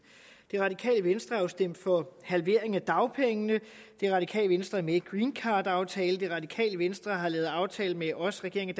det radikale venstre har jo stemt for en halvering af dagpengene det radikale venstre er med i greencardaftalen det radikale venstre har lavet en aftale med os regeringen